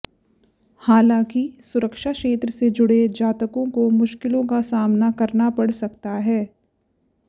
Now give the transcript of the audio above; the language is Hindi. हालांकि सुरक्षा क्षेत्र से जुड़े जातकों को मुश्किलों का सामना करना पड़ सकता है